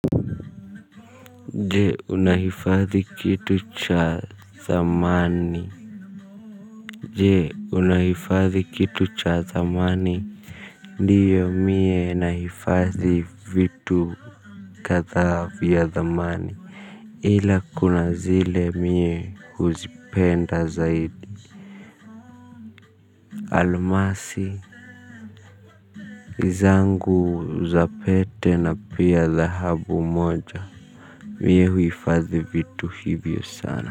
Je unahifadhi kitu cha thamani je unahifadhi kitu cha thamani ndiyo mie nahifadhi vitu kadhaa vya thamani ila kuna zile mie huzipenda zaidi almasi zangu za pete na pia dhahabu moja mie huhifadhi vitu hivyo sana.